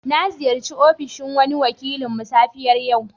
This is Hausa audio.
Na ziyarce ofishin wani wakilinmu safiyar yau.